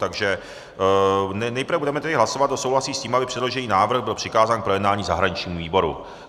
Takže nejprve budeme tedy hlasovat, kdo souhlasí s tím, aby předložený návrh byl přikázán k projednání zahraničnímu výboru.